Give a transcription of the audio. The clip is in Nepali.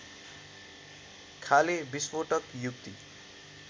खाले विस्फोटक युक्ति